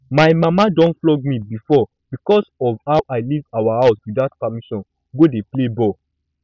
my mama don flog me before because of how i leave our house without permission go dey play ball